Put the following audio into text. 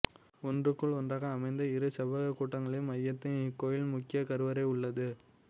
ஒன்றுக்குள் ஒன்றாக அமைந்த இரு செவ்வகக் கூடங்களின் மையத்தில் இக்கோயிலின் முக்கியக் கருவறை உள்ளது